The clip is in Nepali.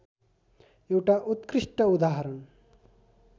एउटा उत्कृष्ट उदाहरण